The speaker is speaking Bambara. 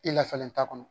I lafɛlen t'a kɔnɔ